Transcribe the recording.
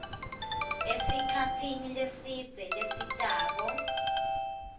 esikhatsini lesidze lesitako